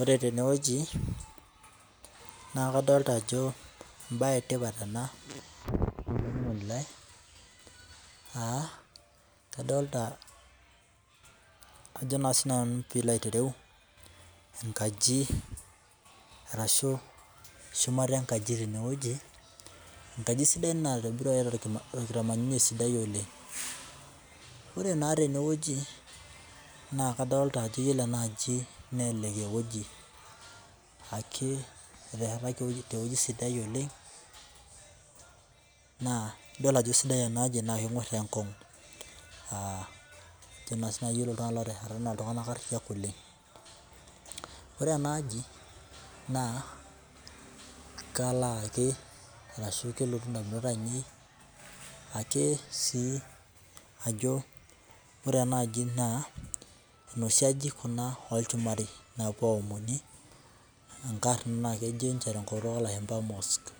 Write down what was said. Ore tenewueji naa kadolita Ajo mbae etipat ena AA kadolita enkaji ashu shumata enkaji enkaji sidai naitobiruaki torkitamanunye sidai oleng ore naa tenewueji naa kadolita ena aji eteshataki tewueji sidai oleng naa edol Ajo sidai enaa aji naa kenyor enkongu ore iltung'ana otesheta naa iltung'ana ariyiak otesheta oleng ore ena aji naa kelotu edamunot ainei ake sii Ajo ore ena enaaji naa noshii ajijik olchumari napuoi aomonie naa kejo tenkutuk oo lashumba mosque